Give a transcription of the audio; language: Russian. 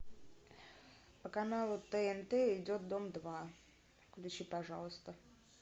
по каналу тнт идет дом два включи пожалуйста